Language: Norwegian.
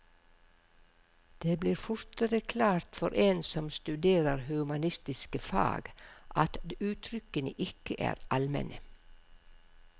Det blir fortere klart for en som studerer humanistiske fag, at uttrykkene ikke er almene.